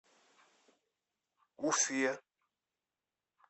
уфе